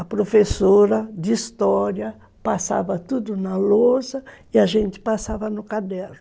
A professora de história passava tudo na louça e a gente passava no caderno.